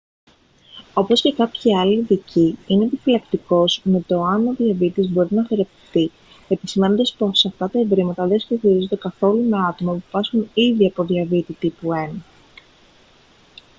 όπως και κάποιοι άλλοι ειδικοί είναι επιφυλακτικός με το εάν ο διαβήτης μπορεί να θεραπευτεί επισημαίνοντας πως αυτά τα ευρήματα δεν συσχετίζονται καθόλου με τα άτομα που πάσχουν ήδη από διαβήτη τύπου 1